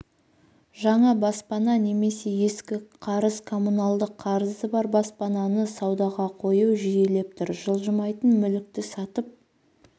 жаңа баспана немесе ескі қарыз коммуналдық қарызы бар баспананы саудаға қою жиілеп тұр жылжымайтын мүлікті сатып